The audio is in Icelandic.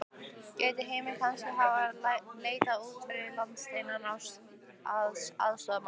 Gæti Heimir kannski hafa leitað út fyrir landsteinana að aðstoðarmanni?